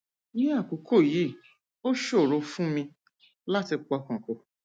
ní àkókò yìí ó ṣòro fún mi láti pọkàn pọ